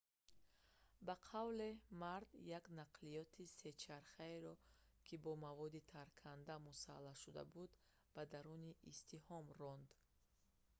ба қавле мард як нақлиёти се чархаеро ки бо маводи тарканда мусаллаҳ шуда буд ба даруни издиҳом ронд